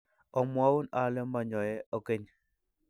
omwoun ale monyoe okeny